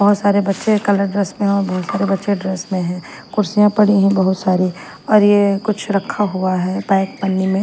बहोत सारे बच्चे कलर ड्रेस में हैं और बहोत सारे बच्चे ड्रेस में हैं कुर्सियां पड़ी हैं बहुत सारी और ये कुछ रखा हुआ है पैक पन्नी में।